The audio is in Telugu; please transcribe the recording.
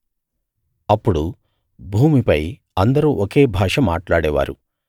అప్పుడు భూమిపై అందరూ ఒకే భాష మాట్లాడేవారు